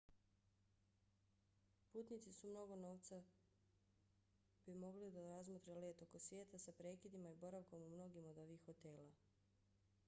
putnici sa mnogo novca bi mogli da razmotre let oko svijeta sa prekidima i boravkom u mnogim od ovih hotela